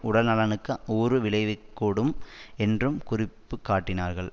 உடல் நலனுக்கு ஊறு விளைவிக்கூடும் என்றும் குறிப்பு காட்டினார்கள்